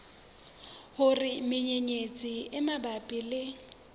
hore menyenyetsi e mabapi le